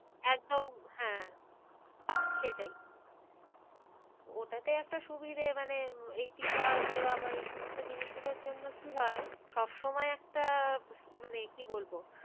একদম হ্যাঁ সেটাই ওটাতে একটা সুবিধে মানে এই টীকা দেওয়া বা এই সমস্ত জিনিস গুলোর জন্য কি হয় সব সময় একটা আহ মানে কি বলবো